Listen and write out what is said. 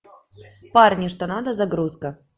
парни что надо загрузка